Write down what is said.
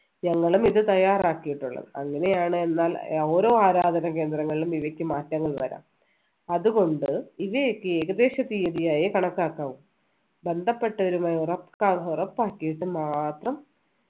ഞങ്ങളും ഇത് തയ്യാറാക്കിയിട്ടുള്ളത് അങ്ങനെയാണ് എന്നാൽ ഓരോ ആരാധകനാകേന്ദ്രങ്ങളിലും ഇവയ്ക്ക് മാറ്റങ്ങൾ വരാം അതുകൊണ്ട് ഇവയൊക്കെ ഏകദേശം തീയതിയായെ കണക്കാക്കാവൂ ബന്ധപ്പെട്ടവരുമായി ഉറപ്പാ ഉറപ്പാക്കിയിട്ട് മാത്രം